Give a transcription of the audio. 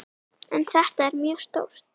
En þetta er mjög stórt.